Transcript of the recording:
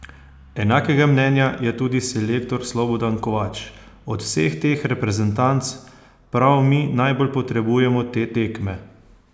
Enakega mnenja je tudi selektor Slobodan Kovač: "Od vseh teh reprezentanc prav mi najbolj potrebujemo te tekme.